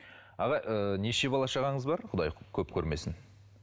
аға ы неше бала шағаңыз бар құдай көп көрмесін